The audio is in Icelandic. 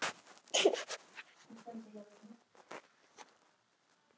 Konan lést níu dögum síðar.